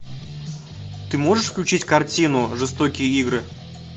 ты можешь включить картину жестокие игры